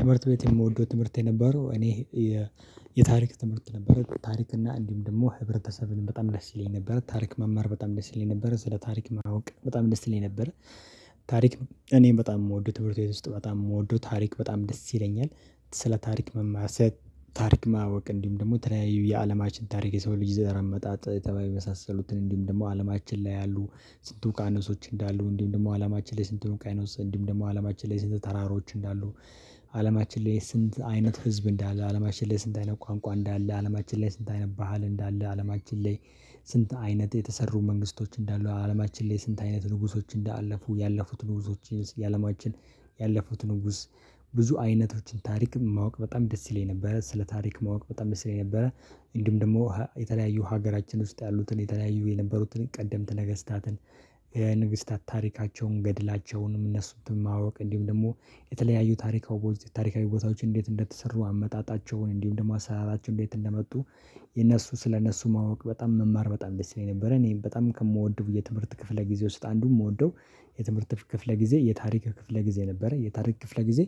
ትምህርት ቤት የምወደው ትምህርት የነበረው እኔ የታሪክ ትምህርት ነበረ። ታሪክ እና እንዲሁም ደግሞ ህብረተሰብን በጣም ደስ ይለኝ ነበር። ታሪክ መማር በጣም ደስ ይለኝ ነበረ ስለ ታሪክ ማወቅ በጣም ደስ ይለኝ ነበረ ታሪክ እኔ በጣም የምወደው ትምህርት ቤት ውስጥ በጣም የምወደው ታሪክ በጣም ደስ ይለኛል። ስለ ታሪክ መማር፤ ታሪክ ማወቅ፤ እንዲሁም ደግሞ ተለያዩ የአለማችን ታሪክ የሰው ልጅ ዘር መጣጥ ተባይ መሳሰሉትን እንዲሁም ደግሞ አለማችን ላይ ያሉ ስንቱ ውቂያኖሶች እንዳሉ እንዲሁ ደግሞ አላማችን ላይ ስንት ውቂያኖስ እንዲሁ ደግሞ አላማችን ላይ ስንት ተራሮች እንዳሉ አለማችን ላይ ስንት አይነት ህዝብ እንዳለ አለማችን ላይ ስንት አይነት ቋንቋ እንዳለ አለማችን ላይ ስንት አይነት ባህል እንዳለ አለማችን ላይ ስንት አይነት የተሰሩ መንግስቶች እንዳሉ፤ አለማችን ላይ ስንት አይነት ንጉሶች እንዳለፉ፤ ያለፉት ንጉሶች የአለማችን ያለፉት ንጉስ ብዙ አይነቶችን ታሪክ ማወቅ በጣም ደስ ይለኝ ነበረ። ስለ ታሪክ ማወቅ በጣም ደስ ይለኝ ስለነበረ እንዲም ደግሞ የተለያዩ ሀገራችን ውስጥ ያሉትን የተለያዩ የነበሩትን ቀደምት ነገስታትን የንግስታት ታሪካቸውን ገድላቸውንም እነሱንም ማወቅ እንዲሁም ደግሞ የተለያዩ ታሪካዊ ቦታዎችን እንዴት እንደተሰሩ አመጣጣቸውን እንዲሁም ደግሞ አሰራራቸውን እንዴት እንደመጡ የነሱ ስለነሱ ማወቅ በጣም መማር በጣም ደስ ይለኝ ነበር። እኔም በጣም ከምወደው የትምህርት ክፍለ ጊዜ ውስጥ አንዱን የምወደው የትምህርት ክፍለ ጊዜ የታሪክ ክፍለ ጊዜ ነበረ። የታሪክ ክፍለ ጊዜ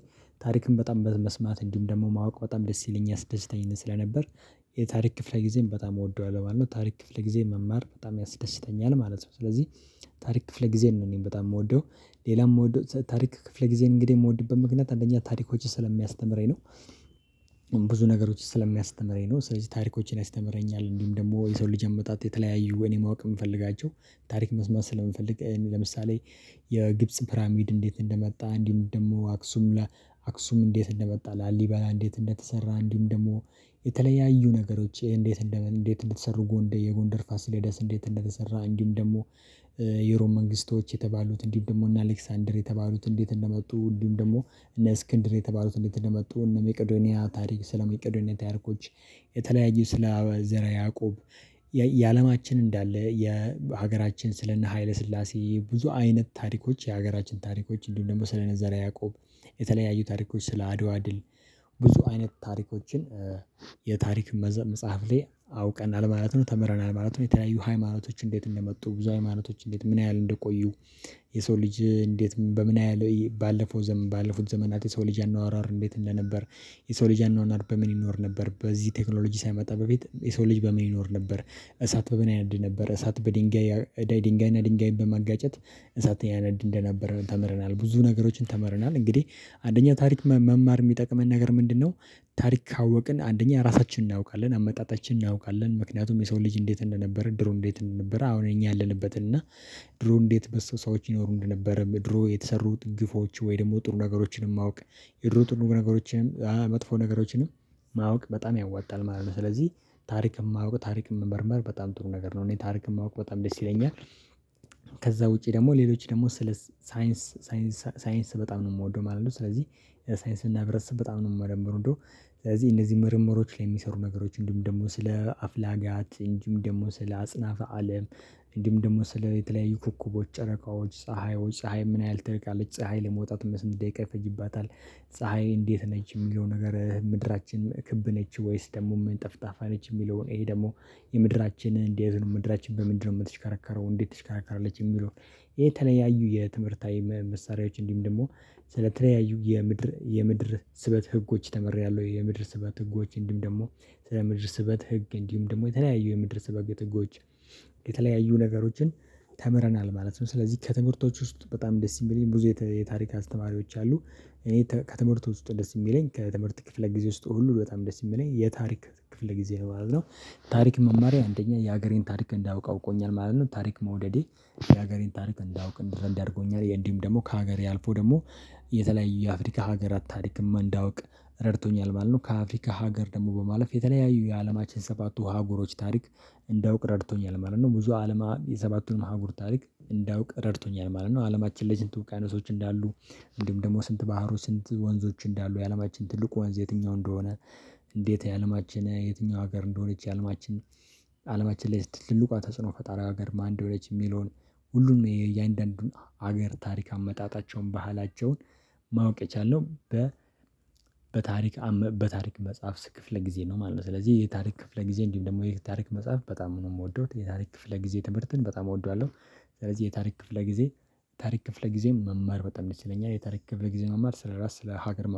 ታሪክም በጣም በመስማት እንዲሁም ደግሞ ማወቅ በጣም ደስ ይለኛል ያስደስተኝ ስለነበር የታሪክ ክፍለ ጊዜን በጣም እወደዋለሁ ማለት ነው። ታሪክ ክፍል ጊዜ መማር በጣም ያስደስተኛል ማለት ነው ስለዚህ ታሪክ ክፍለ ጊዜ ነው እኔ በጣም የምወደው። ሌላም የምወደው ታሪክ ክፍለ ጊዜን እንግዲህ የምወድበት ምክንያት አንደኛ ታሪኮች ስለሚያስተምረኝ ነው ብዙ ነገሮች ስለሚያስተምረኝ ነው። ስለዚህ ታሪኮችን ያስተምረኛ፤ እንዲሁም ደግሞ የሰውን ልጅ አመጣጥ፤ የተለያዩ ወይ እኔ ማወቅ የምፈልጋቸው ታሪክ መስማት ስለምፈልግ። ለምሳሌ የግብጽ ፕራሚድ እንዴት እንደመጣ እንዲሁም ደግሞ አክሱም ለ አክሱም እንዴት እንደመጣ ላሊበላ እንዴት እንደተሰራ እንዲሁም ደግሞ የተለያዩ ነገሮች እንዴት እንዴት እንደተሰሩ ጎንደር የጎንደር ፋሲሌደስ እንዴት እንደተሰራ እንዲሁም ደግሞ የሮም መንግስቶች የተባሉት እንዲሁም ደግሞ እና አሌክሳንደር የተባሉት እንዴት እንደመጡ፤ እንዲሁም ደግሞ እነ እስክንድር የተባሉት እንዴት እንደመጡ፤ እነ ሜቅዶኒያ ታሪክ ስለ ሜቅዶኒያ ታሪኮች፤ የተለያዩ ስለ ዘረ ያዕቆብ የአለማችን እንዳለ የሀገራችን ስለ እነ ሀይለ ስላሴ ብዙ አይነት ታሪኮች የሀገራችን ታሪኮች እንዲሁም ደግሞ ስለ ዘረ ያዕቆብ የተለያዩ ታሪኮች ስለ አድዋ ድል ብዙ አይነት ታሪኮችን የታሪክ መጽሐፍ ላይ አውቀናል ማለት ነው። ተምረናል ማለት ነው። የተለያዩ ሃይማኖቶች እንዴት እንደመ፤ ብዙ ሃይማኖቶች እንዴት ምን ያህል እንደቆዩ የሰው ልጅ እንዴት በምን ያህል ባለፈው ዘመን ባለፉት ዘመናት የሰው ልጅ አኗኗር እንዴት እንደነበር የሰው ልጅ አኗኗር በምን ይኖር ነበር? በዚህ ቴክኖሎጂ ሳይመጣ በፊት የሰው ልጅ በምን ይኖር ነበር? እሳት በምን ያነድ ነበር? እሳት በድንጋይ ድንጋይና ድንጋይና ድንጋይ በማጋጨት እሳትን ያነድ እንደነበረን ተምረናል። ብዙ ነገሮችን ተምረናል እንግዲህ አንደኛው ታሪክ መማር የሚጠቅመን ነገር ምንድነው ታሪክ ካወቅን አንደኛ ራሳችንን እናውቃለን። አመጣጣችንን እናውቃለን። ምክንያቱም የሰው ልጅ እንዴት እንደነበር ድሮ እንዴት እንደነበር አሁን እኛ ያለንበት እና ድሮ እንዴት በሱ ሰዎች ይኖሩ እንደነበረም፤ ድሮ የተሰሩት ግፎች፤ ወይ ደግሞ ጥሩ ነገሮችንም ማወቅ፤ የድሮ ጥሩ ነገሮችንም መጥፎ ነገሮችንም ማወቅ በጣም ያዋጣል ማለት ነው። ስለዚህ ታሪክም የማውቅ ታሪክ መመርመር በጣም ጥሩ ነገር ነው እኔ ታሪክ የማውቅ በጣም ደስ ይለኛል። ከዛ ውጪ ደግሞ ሌሎች ደግሞ ስለ ሳይንስ ሳ በጣም ነው የምወደው ማለት ነው ስለዚህ ሳይንስ እና ህብረተሰብ በጣም ነው የምወደው። እ ስለዚህ እነዚህ ምርምሮች ላይ የሚሰሩ ነገሮች እንዲሁም ደግሞ ስለ አፍላጋት እንዲም ደግሞ ስለ አጽናፈ አለም እንዲም ደግሞ ስለ የተለያዩ ኮኩቦች ጨረቃዎች ፀሀይዎች ፀሀይ ምን ያህል ትርቃለች? ፀሀይ ለመውጣት በስንት ደቂቃ ይፈጅባታል? ፀሀይ እንዴት ነች? የሚለው ነገር ምድራችን ክብ ነች ወይስ ደግሞ ምን ጠፍጣፋ ነች የሚለውን ይሄ ደግሞ የምድራችንን እንዴት ነች ምድራችን በምንድነው የምትሽከረከረው? እንዴት ትሽከራከራለች? የሚለው ይሄ የተለያዩ የትምህርታዊ መሳሪያዎች እንዲም ደግሞ ስለተለያዩ የምድር ስበት ህጎች ተምሬያለሁ። የምድር ስበት ህጎች እንዲሁም ደግሞ ስለ ምድር ስበት ህግ እንዲሁም ደግሞ የተለያዩ የምድር ስበት ህጎች የተለያዩ ነገሮችን ተምረናል ማለት ነው። ስለዚህ ከትምህርቶች ውስጥ በጣም ደስ የሚለኝ ብዙ የታሪካት ተማሪዎች አሉ። እኔ ከትምህርቱ ውስጥ ደስ የሚለኝ ከትምህርት ክፍለ ጊዜ ውስጥ ሁሉ በጣም ደስ የሚለኝ የታሪክ ክፍለ ጊዜ ነው ማለትነው። ታሪክ መማሬ አንደኛ የሀገሬን ታሪክ እንዳውቅ አውቆኛል ማለት ነው ታሪክ መውደዴ የሀገሬን ታሪክ እንዳውቅ እንድረዳ አድርጎኛል። እንዲሁም ደግሞ ከሀገሬ አልፎ ደግሞ የተለያዩ የአፍሪካ ሀገራት ታሪክም እንዳውቅ ረድቶኛል ማለት ነው። ከአፍሪካ ሀገር ደግሞ በማለፍ የተለያዩ የአለማችን ሰባቱ አህጉሮች ታሪክ እንዳውቅ ረድቶኛል ማለት ነው። ብዙ አለማ የሰባቱንም አህጉር ታሪክ እንዳውቅ ረድቶኛል ማለት ነው አለማችን ላይ ስንት ውቅያኖሶቾ አይነቶች እንዳሉ እንዲሁም ደግሞ ስንት ባህር ስንት ወንዞች እንዳሉ፤ የአለማችን ትልቁ ወንዝ የትኛው እንደሆነ እንዴት የአለማችን የትኛው ሀገር እንደሆነች፤ የአለማችን አለማችን ላይ ትልቋ ተጽዕኖ ፈጣሪ ሀገር ማን እንደሆነች የሚለውን፤ ሁሉም ነው የእያንዳንዱን ሀገር ታሪክ አመጣጣቸውን ባህላቸውን ማወቅ የቻልነው በ በታሪክ መጽሐፍ ክፍለ ጊዜ ነው ማለት ነው። ስለዚህ የታሪክ ክፍለ ጊዜ እንዲሁም ደግሞ የታሪክ መጽሐፍ በጣም ምንም የምወደው የታሪክ ክፍለ ጊዜ ትምህርትን በጣም እወደዋለሁ። ስለዚህ የታሪክ ክፍለ ጊዜ ታሪክ ክፍለ ጊዜም መማር በጣም ደስ ይለኛል የታሪክ ክፍለ ጊዜ መማር ስለራስ ስለ ሀገር ማወቅ